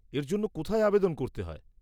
এর জন্য কোথায় আবেদন করতে হয়?